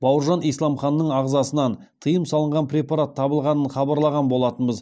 бауыржан исламханның ағзасынан тыйым салынған препарат табылғанын хабарлаған болатынбыз